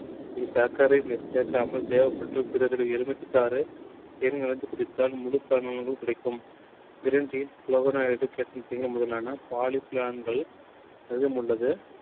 சக்கரை சேர்க்காமல் தேவைபட்ட எலுமிச்சை சாரு தேன் கலந்து குடித்தால் முழு பலனும் கிடைக்கும். green tea முதலான அதிகம் உள்ளது